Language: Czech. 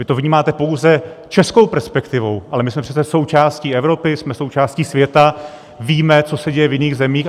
Vy to vnímáte pouze českou perspektivou, ale my jsme přece součástí Evropy, jsme součástí světa, víme, co se děje v jiných zemích.